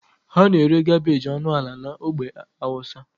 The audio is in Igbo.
A na-ere kabeji ọnụ ala na ogbe hausa.